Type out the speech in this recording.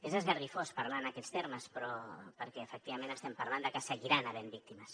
és esgarrifós parlar en aquests termes perquè efectivament estem parlant de que seguiran havent hi víctimes